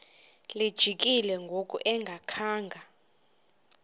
lijikile ngoku engakhanga